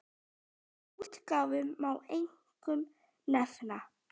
Af útgáfum má einkum nefna